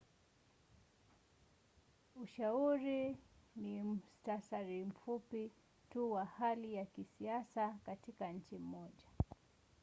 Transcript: ushauri ni muhtasari mfupi tu wa hali ya kisiasa katika nchi moja